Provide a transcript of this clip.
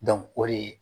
o de ye